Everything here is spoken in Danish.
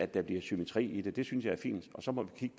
der bliver symmetri i det det synes jeg er fint og så må vi